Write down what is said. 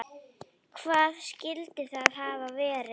Hvað skyldi það hafa verið?